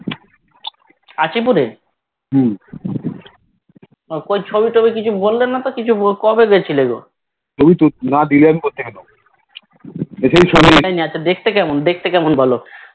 আচিপুরে কই ছবিটবি কিছু বললে না তো কবে গেছিলোগো আচ্ছা দেখতে কেমন দেখতে কেমন বলো